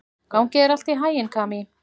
Gangi þér allt í haginn, Kamí.